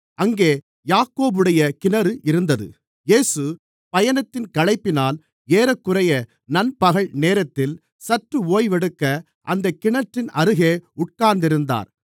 அங்கே யாக்கோபுடைய கிணறு இருந்தது இயேசு பயணத்தின் களைப்பினால் ஏறக்குறைய நண்பகல் நேரத்தில் சற்று ஓய்வெடுக்க அந்தக் கிணற்றின் அருகே உட்கார்ந்திருந்தார்